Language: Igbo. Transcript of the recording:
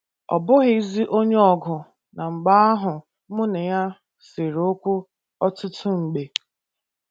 Ọ bụghịzi onye ọgụ na mgba ahụ mụ na ya sere okwu ọtụtụ mgbe.